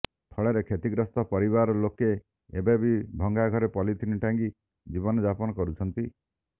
ଫଳରେ କ୍ଷତିଗ୍ରସ୍ତ ପରିବାର ଲୋକେ ଏବେ ବି ଭଙ୍ଗାଘରେ ପଲିଥିନି ଟାଙ୍ଗି ଜୀବନ ଯାପନ କରୁଛନ୍ତି